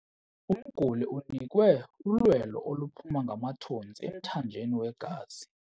Umguli unikwe ulwelo oluphuma ngamathontsi emthanjeni wegazi.